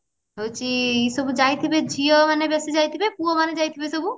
ସବୁ ଯାଇଥିବେ ଝିଅ ମାନେ ବେଶୀ ଯାଇଥିବେ ପୁଅ ମାନେ ଯାଇଥିବେ ସବୁ